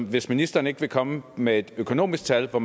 hvis ministeren ikke vil komme med et økonomisk tal på